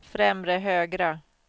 främre högra